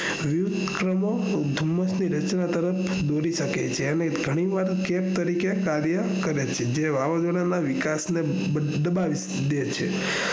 વિવિધ કણો ધુમ્મસ ની રચના તરફ દોરી શકે છે જે ઘણી વાર કાર્ય કરે છે જે વાવાઝોડા ના વિકાસ ને દબાઈ દે છે